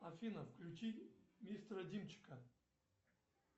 афина включи мистера димчика